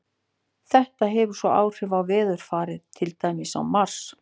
Þetta hefur svo áhrif á veðurfarið, til dæmis á Mars.